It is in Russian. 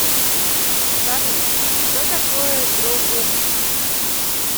салют что такое дрогобыч